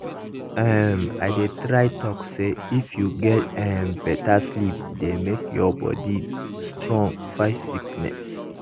um i dey try talk say if you get eh better sleep dey make your body strong fight sickness